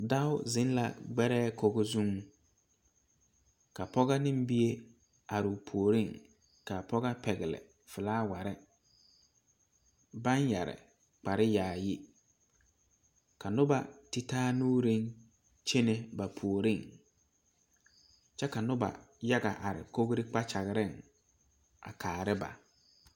Dao zeŋ gbɛrɛɛ kogo zuŋ ka pɔga ne bie are o puoriŋ ka a pɔga pɛgle filaaware baŋ yɛre kpare yaayi ka noba ti taa nuureŋ kyene ba puoriŋ kyɛ ka noba yaga are kogre kpakyagaŋ a kaara ba.